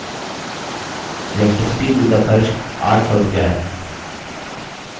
electricity bill का खर्च 800 रुपया है